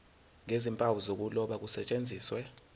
nezimpawu zokuloba kusetshenziswe